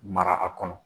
Mara a kɔnɔ